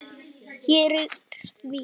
Hér er því.